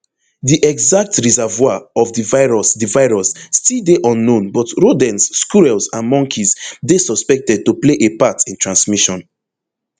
di exact reservoir of di virus di virus still dey unknown but rodents squirrels and monkeys dey suspected to play a part in transmission